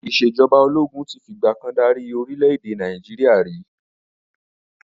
Ìsèjọba ológun tí fi ìgbàkan dárí orìlẹ̀ èdè Naijiria ri